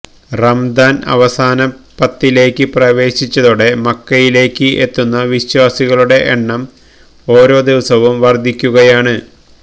റമദാന് അവസാന പത്തിലേക്ക് പ്രവേശിച്ചതോടെ മക്കിയിലേക്ക് എത്തുന്ന വിശ്വാസികളുടെ എണ്ണം ഓരോ ദിവസവും വര്ദ്ധിക്കുകയാണ്